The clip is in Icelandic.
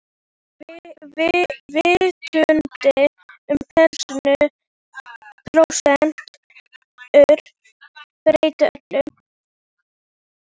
En vitundin um prósentur breytti öllu.